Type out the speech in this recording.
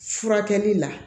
Furakɛli la